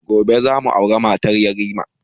Gobe za mu aura mata yarima